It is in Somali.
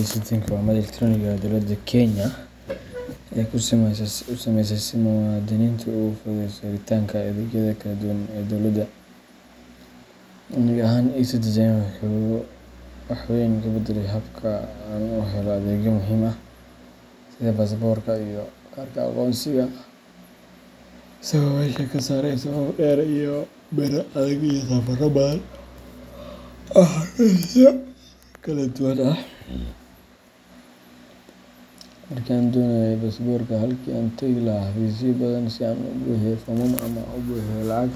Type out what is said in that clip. eCitizenka waa madal elektaroonik ah oo dowladda Kenya ay u sameysay si ay muwaadiniinta ugu fududeyso helitaanka adeegyada kala duwan ee dowladda. Aniga ahaan, eCitizenka wuxuu wax weyn ka beddelay habka aan u helo adeegyo muhiim ah sida baasaboorka iyo kaarka aqoonsiga, isagoo meesha ka saaray safaf dhaadheer, biro adag, iyo safarro badan oo xafiisyo kala duwan ah. Markii aan doonayay baasaboorka, halkii aan tagi lahaa xafiisyo badan si aan u buuxiyo foomam ama u bixiyo lacag,